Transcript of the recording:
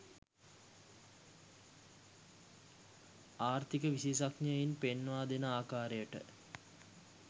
ආර්ථික විශේෂඥයින් පෙන්වා දෙන ආකාරයට